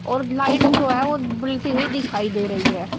और लाइट जो है वो बलती हुई दिखाई दे रही है।